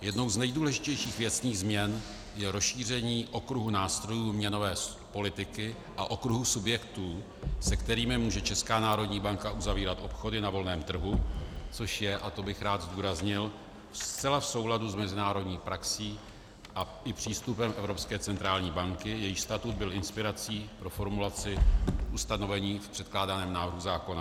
Jednou z nejdůležitějších věcných změn je rozšíření okruhu nástrojů měnové politiky a okruhu subjektů, se kterými může Česká národní banka uzavírat obchody na volném trhu, což je, a to bych rád zdůraznil, zcela v souladu s mezinárodní praxí a i přístupem Evropské centrální banky, jejíž statut byl inspirací pro formulaci ustanovení v předkládaném návrhu zákona.